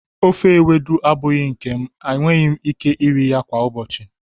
ofe Ewedu abụghị nke m, enweghị m ike iri ya kwa ụbọchị.